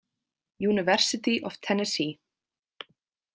University of Tennessee.